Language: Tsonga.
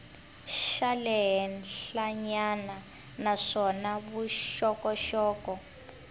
xa le henhlanyana naswona vuxokoxoko